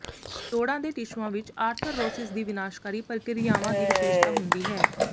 ਜੋੜਾਂ ਦੇ ਟਿਸ਼ੂਆਂ ਵਿਚ ਆਰਥਰਰੋਸਿਸ ਦੀ ਵਿਨਾਸ਼ਕਾਰੀ ਪ੍ਰਕਿਰਿਆਵਾਂ ਦੀ ਵਿਸ਼ੇਸ਼ਤਾ ਹੁੰਦੀ ਹੈ